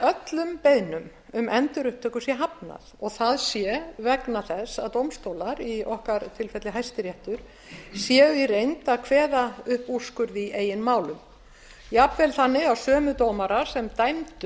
beiðnum um endurupptöku sé hafnað og að það sé vegna þess að dómstólar í okkar tilfelli hæstiréttur séu í reynd að kveða upp úrskurð í eigin málum jafnvel þannig að sömu dómarar og dæmdu